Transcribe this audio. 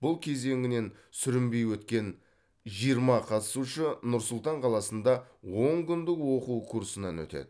бұл кезеңінен сүрінбей өткен жиырма қатысушы нұр сұлтан қаласында он күндік оқу курсынан өтеді